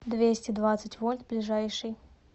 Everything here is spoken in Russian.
двести двадцать вольт ближайший